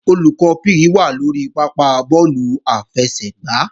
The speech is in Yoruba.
Olùkọ́ PE wà lórí pápá bọ́ọ̀lù àfẹsẹ̀gbá